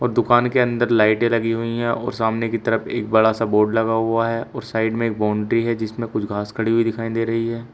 दुकान के अंदर लाइटें लगी हुई है और सामने की तरफ एक बड़ा सा बोर्ड लगा हुआ है और साइड में बाउंड्री है जिसमें कुछ घास खड़ी हुई दिखाई दे रही है।